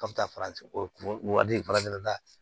K'a bɛ taa farafin fara